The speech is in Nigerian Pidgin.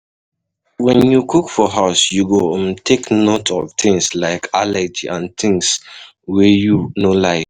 When you cook for house you go um take note of things like allergy and things wey you no like